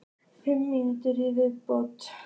Fimm mínútur í viðbótartíma?